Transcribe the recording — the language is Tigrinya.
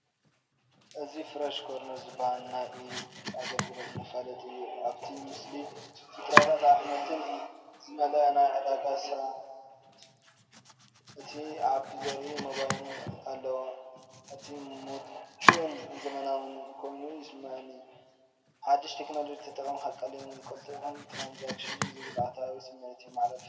እዚ "ፍረሽ ኮርነር" ዝበሃል ናይ ኢ-ቢር ኣገልግሎት መፈላጢ እዩ። ኣብቲ ምስሊ ፍረታትን ኣሕምልትን ዝመልአ ናይ ዕዳጋ ሳጹንን ነቲ ኣፕ ዘርኢ ሞባይልን ኣለዎ። እዚ ምቹእን ዘመናውን ኮይኑ ይስምዓኒ። ሓድሽ ቴክኖሎጂ ተጠቒምካ ቀሊልን ቅልጡፍን ትራንዛክሽን ዝብል ኣወንታዊ ስምዒት የመሓላልፍ።